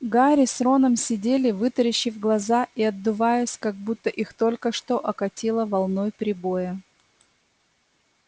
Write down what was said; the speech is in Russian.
гарри с роном сидели вытаращив глаза и отдуваясь как будто их только что окатило волной прибоя